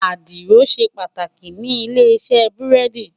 Àdìrò ṣé pàtákí ni ilé-isè búrèdí